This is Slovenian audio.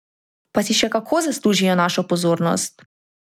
Pa si še kako zaslužijo našo pozornost!